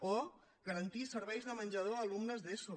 o garantir serveis de menjador a alumnes d’eso